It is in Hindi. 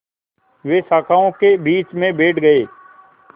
वे शाखाओं के बीच में बैठ गए